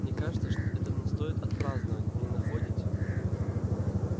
мне кажется это стоит отпраздновать вы не находите